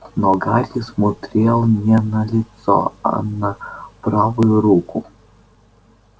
но гарри смотрел не на лицо а на правую руку